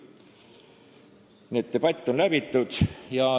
Nii et selline debatt on läbi tehtud.